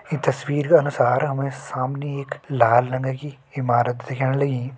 ईं तस्वीर का अनुसार हमे सामने एक लाल रंगा की इमारत दिखेण लगीं।